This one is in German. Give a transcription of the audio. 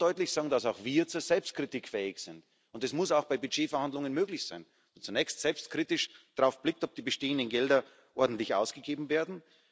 Ich möchte schon deutlich sagen, dass auch wir zur Selbstkritik fähig sind, und es muss auch bei Budgetverhandlungen möglich sein, dass man zunächst selbstkritisch darauf blickt, ob die bestehenden Gelder ordentlich ausgegeben werden.